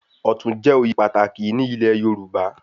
Ọ̀tún jẹ oyè pàtàkì ní ilé Yorùbá